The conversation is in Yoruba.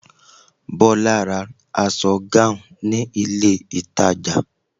Bola bought a gown in the mall